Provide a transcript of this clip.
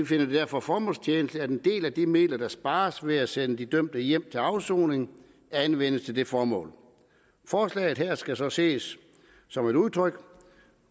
finder det derfor formålstjenligt at en del af de midler der spares ved at sende de dømte hjem til afsoning anvendes til det formål forslaget her skal så ses som et udtryk